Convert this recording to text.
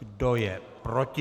Kdo je proti?